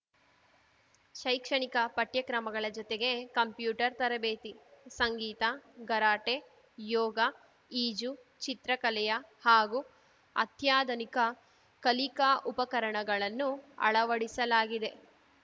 ಶೈಕ್ಷಣಿಕ ಪಠ್ಯ ಕ್ರಮಗಳ ಜೊತೆಗೆ ಕಂಪ್ಯೂಟರ್‌ ತರಬೇತಿ ಸಂಗೀತ ಕರಾಟೆ ಯೋಗ ಈಜು ಚಿತ್ರಕಲೆಯ ಹಾಗೂ ಅತ್ಯಾಧನಿಕ ಕಲಿಕಾ ಉಪಕರಣಗಳನ್ನು ಅಳವಡಿಸಲಾಗಿದೆ